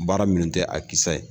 Baara minnu tɛ a kisa ye